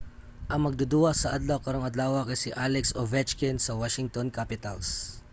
ang magduduwa sa adlaw karong adlawa kay si alex ovechkin sa washington capitals